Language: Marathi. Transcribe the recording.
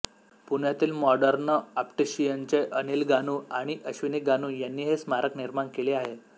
पुण्यातील मॉडर्न ऑप्टिशियनचे अनिल गानू आणि अश्विनी गानू यांनी हे स्मारक निर्माण केले आहे